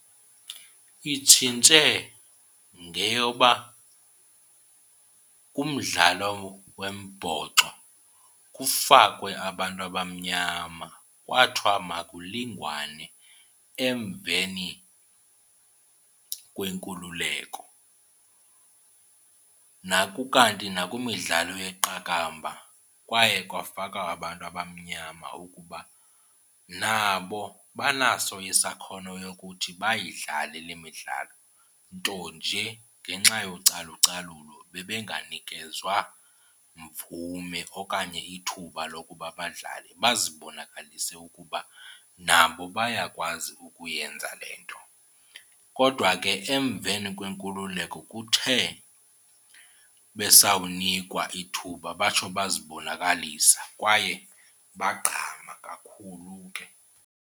Itshintshe ngeyoba kumdlalo wombhoxo kufakwe abantu abamnyama, kwathiwa makulinganwe emveni kwenkululeko. Kukanti nakwimidlalo yeqakamba kwaye kwafakwa abantu abamnyama ukuba nabo banaso isakhono yokuthi bayidlale le midlalo nto nje ngenxa yocalucalulo bebenganikezwa mvume okanye ithuba lokuba badlale bazibonakalise ukuba nabo bayakwazi ukuyenza le nto. Kodwa ke emveni kwenkululeko kuthe besawunikwa ithuba batsho bazibonakalisa kwaye bagqama kakhulu.